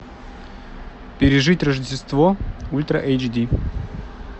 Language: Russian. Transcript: пережить рождество ультра эйч ди